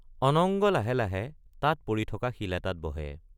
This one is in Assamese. অনঙ্গ লাহে লাহে তাত পৰি থকা শিল এটাত বহে।